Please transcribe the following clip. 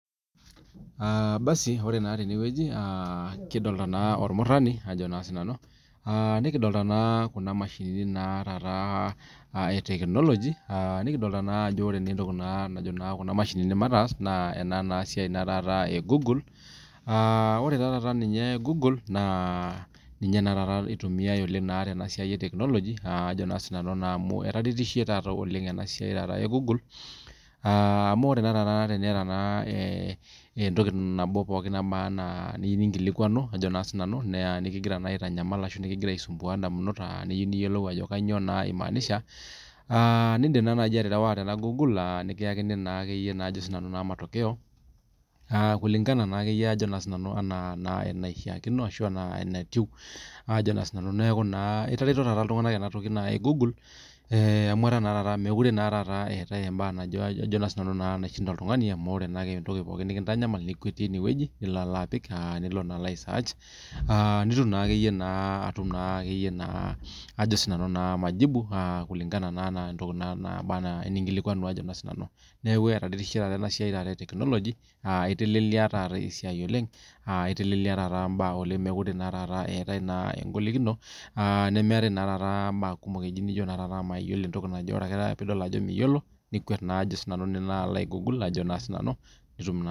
Ore naa tenewueji kidolita naa ormurani nikidolita Kuna mashini ee etekinoloji nikidolita naa entoki najo Kuna mashini mataas naa esiai naa egoogle ore naa taata goole naa ninye eitumiai Teena siai etekinoloji Ajo sinanu amu etaasishe ena siai ee google amu ore taata teniata entoki nabo pookin emaana niyieu ninkilikuanu naa ekigira aisumbua ndamunot ashu eyieu niyiolou naa Ajo kainyio egira aimanisha naa edim naaji aterewa Tena google nikiyakini Ajo sinanu matokeo kulingana naa enaishakino ashu enatieu Ajo naa sinanu neeku etareto iltung'ana taata ena toki naaji google amu etaa naa taata meetae embae nashinda oltung'ani amu ore naa pookin ewueji nikintanyamal nikwetie enewueji nilo apik nilo naa aisearch nitum naa majibu kulingana naa ena entoki ninkilikunua Ajo naa sinanu neeku etaretishe taata enasiai etekinoloji[c]etelelia taata esiai oleng etelelia naa taata mbaa oleng mekure etae egolikino nemeetae naa mbaa kumok nijo mayiolo entoki naaje ore ake taata pee edol Ajo miyiolo nikwet Ajo naa sinanu alo aigoogle nitum naa